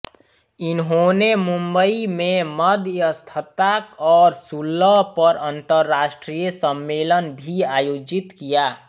इन्होंने मुंबई में मध्यस्थता और सुलह पर अंतर्राष्ट्रीय सम्मेलन भी आयोजित किया